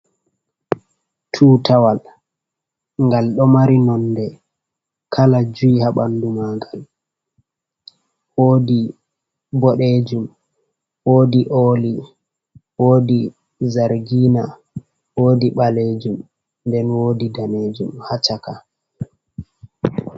Tutawal, gal ɗo mari nonde kala jui haɓandu magal wodi boɗejum, wodi oli, wodi zargina, wodi ɓalejum nden wodi danejum hacaka.